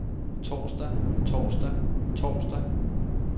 torsdag torsdag torsdag